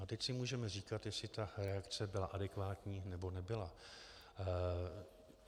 A teď si můžeme říkat, jestli ta reakce byla adekvátní, nebo nebyla.